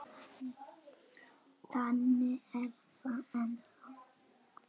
Og þannig er það ennþá.